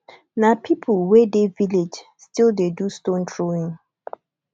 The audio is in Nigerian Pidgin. na pipo wey dey village still dey do stone throwing